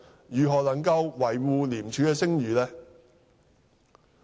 如何能夠維護廉署的聲譽呢？